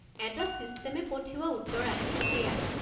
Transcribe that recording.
এটা ছিষ্টেমে পঠিওৱা উত্তৰ আহে, সেইয়াই।